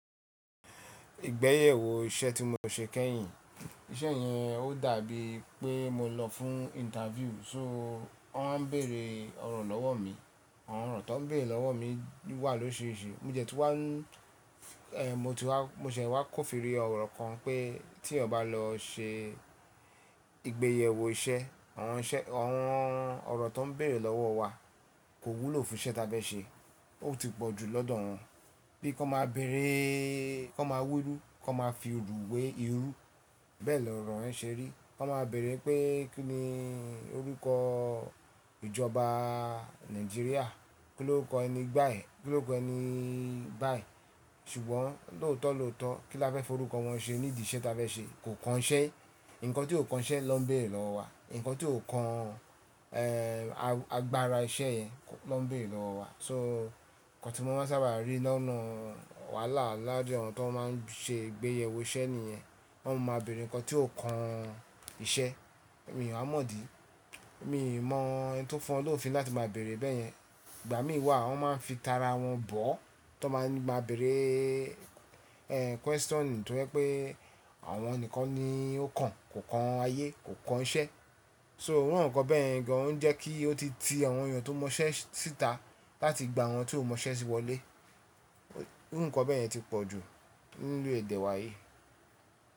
Ìgbéyewó iṣẹ́ tí mo ṣe kẹ́yìn, iṣẹ́ yẹn ó dàbí pé mo lọ fún interview, so wọ́n wá nbèrè ọ̀rọ̀ lọ́wọ́ mi. Ọ̀rọ̀ tó ń bèrè lọ́wọ́ mi wà lórisirisi. Mo dẹ̀ tun wá, ẹ́, mo ti wá, mo sẹ́ wá ko firi ọ̀rọ̀ kan pé tí eyan bá lọ ṣe ìgbéyẹ́wó iṣẹ́, àwọn iṣẹ́, àwọn ọ̀rọ̀ tó ń bèrè lọ́wọ́ wa kò wúlò fún iṣẹ́ ta fẹ́ ṣe. Ó ti pọ̀ ju lọ́dọ̀ wọn. Bí kan máa bere, kan máa wiru, kan máa firú wé irú, bẹ́ẹ̀ lọ̀rọ̀ yẹ̀ ṣe rí. Kan máa bere pé kí ni orúkọ ìjọba Nàìjíríà? Kí ló kọ ẹni gbáyẹ̀? Kí ló kọ ẹni báyìí? Ṣùgbọ́n lóòótọ́ lóòótọ́ kí lá fẹ́ forúkọ wọn ṣe nídi iṣẹ́ ta fẹ́ ṣe kò kan iṣẹ́. Ǹkan tí ó kan iṣẹ́ nọ ń bèrè lọ́wọ́ wa. Ǹkan tí ó kan, ẹ́, agbára iṣẹ́ yẹn nọ ń bèrè lọ́wọ́ wa. So nkan tí mo ma n sábà rí lọ́nà wàhálà niwajú àwọn tó máa ń ṣe ìgbéyẹ́wó iṣẹ́ nìyẹn. Wọ́n máa ń bèrè ǹkan tí ó kan iṣẹ́. Èmi ò wá mọ̀ dí. Èmi o mọ ẹ́ni tó fùn wfọ́n lófin láti máa bèrè bẹ́yẹn. Ìgbà mí wà wọ́n máa ń fi tara wọn bọ́ tón máa ń gba bèrè, ẹ́, question tó jẹ́ pé àwọn nìkan ni ó kan, kò kan ayé, kò kan iṣẹ́. So irú nǹkan bẹ́yẹ̀ gan ounjẹ́ kí ó ti ti àwọn èèyàn tó mọ iṣẹ́ síta láti gba àwọn tí ò mọ iṣẹ́ se wọlé. Irú nǹkan bẹ́ẹ̀ yẹ ti pọ̀ ju nínú èdè wa yìí.